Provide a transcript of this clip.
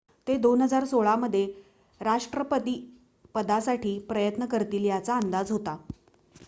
ते 2016 मध्ये राष्ट्रपतीपदासाठी प्रयत्न करतील याचा अंदाज होता